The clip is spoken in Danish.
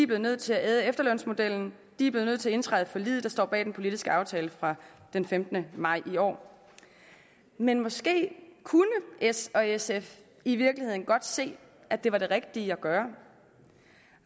blevet nødt til at æde efterlønsmodellen de er blevet nødt til at indtræde i forliget der står bag den politiske aftale fra den femtende maj i år men måske kunne s og sf i virkeligheden godt se at det var det rigtige at gøre